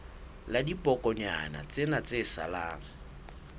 la dibokonyana tsena tse salang